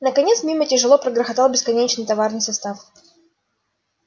наконец мимо тяжело прогрохотал бесконечный товарный состав